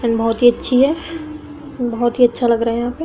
Film बहुत ही अच्छी है। बहुत ही अच्छा लग रहा है यहाँ पे ।